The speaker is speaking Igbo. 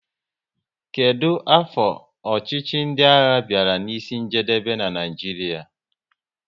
Kedụ afọ ọchịchị ndị agha bịara n'isi njedebe n'Naijiria?